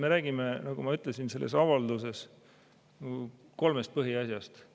Me räägime, nagu ma ütlesin, selles avalduses kolmest põhiasjast.